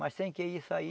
Mas sem que isso aí...